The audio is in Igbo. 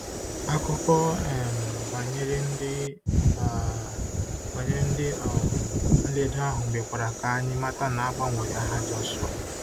Akụkọ um banyere ndị um banyere ndị um nledo ahụ mekwara ka anyị mata na a gbanwere aha Jọshụa.